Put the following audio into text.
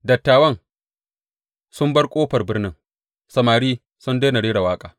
Dattawan sun bar ƙofar birnin, samari sun daina rera waƙa.